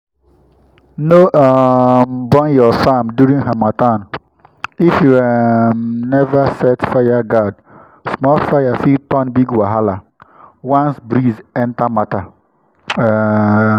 no um burn your farm during harmattan if you um never set fireguard—small fire fit turn big wahala once breeze enter matter. um